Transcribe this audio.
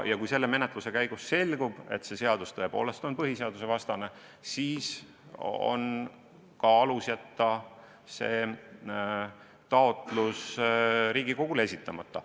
Kui selle menetluse käigus selgub, et see seadus tõepoolest on põhiseadusvastane, siis on ka alus jätta see taotlus Riigikogule esitamata.